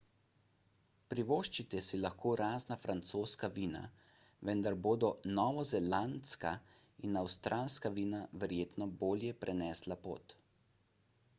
privoščite si lahko razna francoska vina vendar bodo novozelandska in avstralska vina verjetno bolje prenesla pot